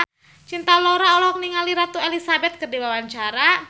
Cinta Laura olohok ningali Ratu Elizabeth keur diwawancara